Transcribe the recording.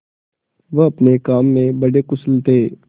वह अपने काम में बड़े कुशल थे